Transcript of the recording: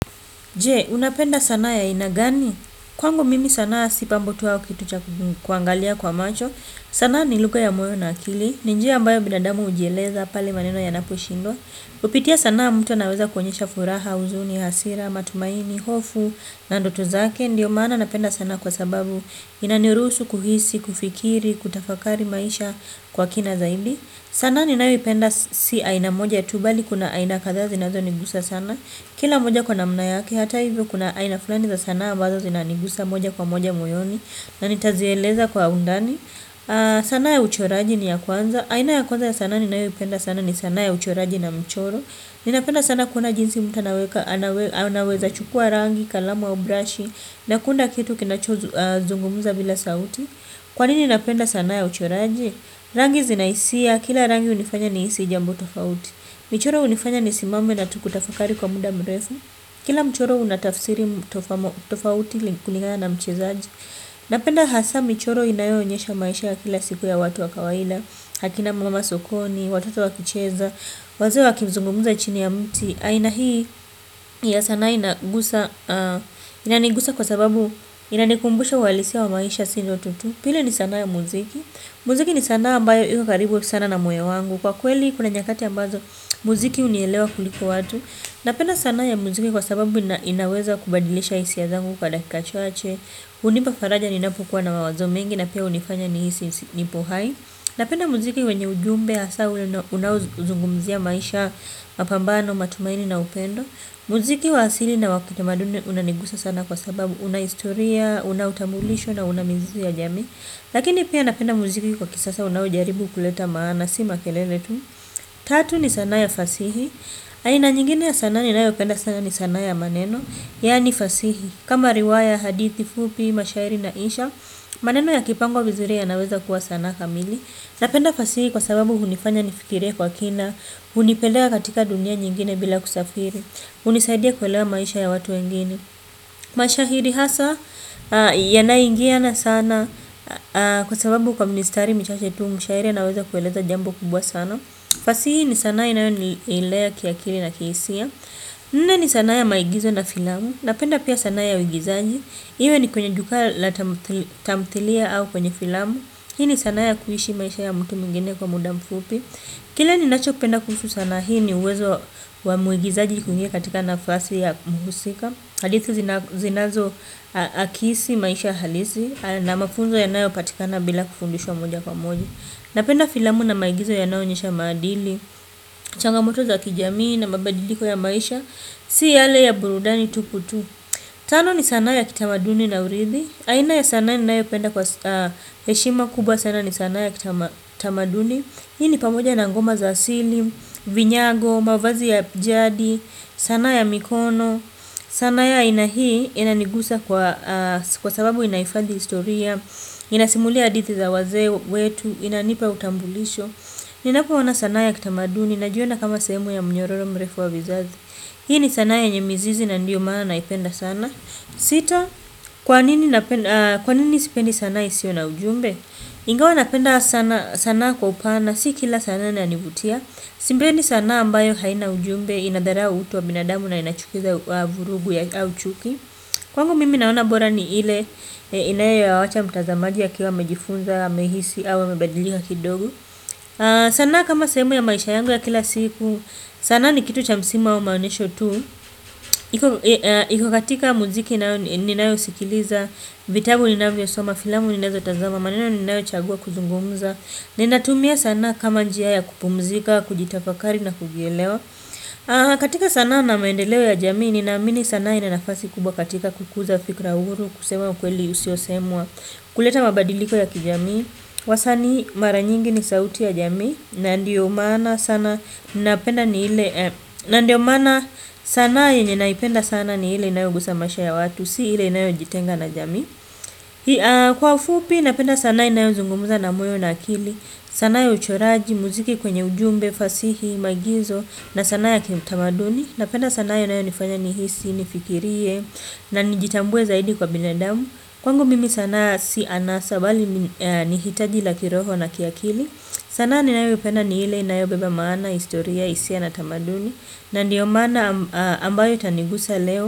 Je, unapenda sanaa ya aina gani? Kwangu mimi sanaa si pambo tu au kitu cha kuangalia kwa macho. Sana ni lugha ya moyo na akili. Ni njia ambayo binadamu hujieleza pale maneno yanaposhindwa. Kupitia sanaa mtu anaeza kuonyesha furaha, huzuni, hasira, matumaini, hofu, na ndoto zake. Ndiyo maana napenda sana kwa sababu inaniruhusu kuhisi, kufikiri, kutafakari maisha kwa kina zaidi. Sanaa ninayoipenda si aina moja ya tu bali kuna aina kadhaa zinazonigusa sana. Kila moja kwa namna yake, hata hivyo kuna aina fulani za sanaa ambazo zinanigusa moja kwa moja moyoni na nitazieleza kwa undani. Sanaa ya uchoraji ni ya kwanza. Aina ya kwanza ya sanaa ninayoipenda sanaa ni sanaa ya uchoraji na mchoro. Ninapenda sanaa kuona jinsi mtu anaweza chukua rangi, kalamu ya au brashi na kuunda kitu kinachozungumza bila sauti. Kwa nini napenda sanaa ya uchoraji? Rangi zina hisia kila rangi hunifanya nihisi jambo tofauti. Michoro hunifanya nisimame na kutafakari kwa muda mrefu. Kila mchoro unatafsiri tofauti kulingana na mchezaji. Napenda hasa, michoro inayoonyesha maisha ya kila siku ya watu wa kawaida akina mama sokoni, watoto wa kicheza, wazee wakimzungumza chini ya mti. Aina hii, ya sana inagusa, inanigusa kwa sababu inanikumbusha uhalisia wa maisha si ndoto tu. Pili ni sanaa ya muziki, muziki ni sanaa ambayo iko karibu sana na moyo wangu. Kwa kweli kuna nyakati ambazo muziki hunielewa kuliko watu. Napenda sanaa ya muziki kwa sababu inaweza kubadilisha hisia zangu kwa dakika chache hunipa faraja ninapokuwa na mawazo mengi na pia hunifanya ni hisi nipo hai. Napenda muziki wenye ujumbe hasa unaozungumzia maisha, mapambano, matumaini na upendo. Muziki wa asili na wakitamaduni unanigusa sana kwa sababu una historia, una utambulisho na mizizi ya jamii. Lakini pia napenda muziki kwa kisasa unaojaribu kuleta maana si makelene tu. Tatu ni sanaa ya fasihi. Aina nyingine ya sanaa ninayopenda sana ni sanaa ya maneno. Yaani fasihi. Kama riwaya, hadithi, fupi, mashairi na insha, maneno yakipangwa vizuri yanaweza kuwa sanaa kamili. Napenda fasihi kwa sababu hunifanya nifikirie kwa kina. Hunipeleka katika dunia nyingine bila kusafiri hunisaidia kuelewa maisha ya watu wengine. Mashahidi hasa yanaingiana sana. Kwa sababu kwa mistari michache tu mshairi anaweza kueleza jambo kubwa sana. Fasihi ni sanaa inayo nilea kiakili na kihisia, nne ni sanaa ya maigizo na filamu. Napenda pia sanaa ya uigizaji. Iwe ni kwenye jukwaa la tamthilia au kwenye filamu. Hii ni sanaa ya kuishi maisha ya mtu mwingine kwa muda mfupi. Kile ninacho penda kuhusu sanaa ni uwezo wa muigizaji kuingia katika nafasi ya muhusika hadithi zinazo akisi maisha halisi na mafunzo yanayopatikana bila kufundishwa moja kwa moja, napenda filamu na maigizo yanayo onyesha madili changamoto za kijamii na mabadiliko ya maisha si yale ya burudani tupu tu, tano ni sana ya kitamaduni na uridhi aina ya sanaa ninayo penda kwa heshima kubwa sana ni sana ya kitamaduni. Hii ni pamoja na ngoma za asili, vinyago, mavazi ya jadi, sana ya mikono. Sanaa ya aina hii inanigusa kwa sababu inaifadhi historia. Inasimulia hadithi za wazee wetu, inanipa utambulisho. Ninapoona sana ya kitamaduni, najiona kama sehemu ya mnyororo mrefu wa vizazi. Hii ni sanaa ya yenye mizizi na ndio maana naipenda sana, sita, kwa nini sipendi sana isiyo na ujumbe? Ingawa napenda sanaa kwa upana, si kila sanaa inanivutia. Sipendi ni sanaa ambayo haina ujumbe inadharau utu wa binadamu na inachukiza vurugu au uchuki. Kwangu mimi naona bora ni ile inayoacha mtazamaji akiwa amejifunza, amehisi au amebadilika kidogo. Sanaa kama sehemu ya maisha yangu ya kila siku, sanaa ni kitu cha msimu au maonyesho tu. Iko katika muziki ninayo sikiliza. Vitabu ninavyosoma, filamu ninazotazama. Maneno ninayochagua kuzungumza. Ninatumia sanaa kama njia ya kupumzika, kujitafakari na kujielewa. Katika sanaa na maendeleo ya jamii ninaamini sanaa ina nafasi kubwa katika kukuza fikra huru. Kusema ukweli usiosemwa kuleta mabadiliko ya kijamii. Wasanii mara nyingi ni sauti ya jamii na ndiyo maana sana ndiyo maana sana ninapenda ni ile na ndio maana sanaa yenye naipenda sana ni ile inayogusa maisha ya watu si ile inayojitenga na jamii, kwa ufupi pia napenda sanaa inayozungumza na moyo na akili sanaa ya uchoraji muziki kwenye ujumbe muziki fasihi maigizo na sanaa ya kiutamaduni, napenda sanaa inayonifanya nihisi nifikirie na nijitambue zaidi kwa binadamu kwangu mimi sanaa si anasa bali ni hitaji la kiroho na kiakili, sanaa ninayoipenda ni ile inayobeba maana historia hisia na tamaduni na ndiyo maana ambayo itanigusa leo.